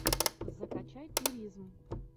закачай туризм